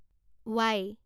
Y